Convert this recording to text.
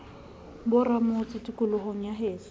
ba ramotse tikolohong ya heso